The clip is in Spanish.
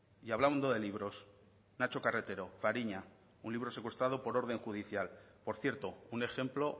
y hablando de libros nacho carretero fariña un libro secuestrado por orden judicial por cierto un ejemplo